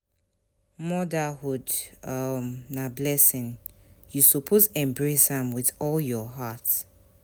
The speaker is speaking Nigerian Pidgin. Motherhood [um]na blessing, you suppose embrace am with all your heart.